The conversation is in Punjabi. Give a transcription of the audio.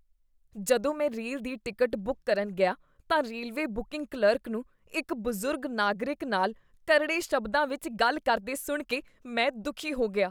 ਜਦੋਂ ਮੈਂ ਰੇਲ ਦੀ ਟਿਕਟ ਬੁੱਕ ਕਰਨ ਗਿਆ ਤਾਂ ਰੇਲਵੇ ਬੁਕਿੰਗ ਕਲਰਕ ਨੂੰ ਇੱਕ ਬਜ਼ੁਰਗ ਨਾਗਰਿਕ ਨਾਲ ਕਰੜੇ ਸ਼ਬਦਾਂ ਵਿੱਚ ਗੱਲ ਕਰਦੇ ਸੁਣ ਕੇ ਮੈਂ ਦੁਖੀ ਹੋ ਗਿਆ।